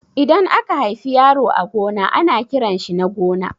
Idan aka haifi yaro a gona ana kiranshi Nagona